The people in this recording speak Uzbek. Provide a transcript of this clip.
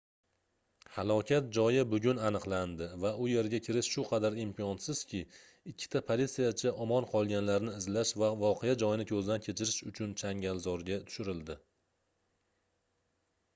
halokat joyi bugun aniqlandi va u yerga kirish shu qadar imkonsizki ikkita politsiyachi omon qolganlarni izlash va voqea joyini koʻzdan kechirish uchun changalzorga tushirildi